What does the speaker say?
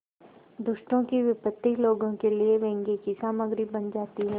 दुष्टों की विपत्ति लोगों के लिए व्यंग्य की सामग्री बन जाती है